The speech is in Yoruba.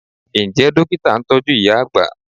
Ǹjẹ́ Dókítà ń tọ́jú ìyá àgbà?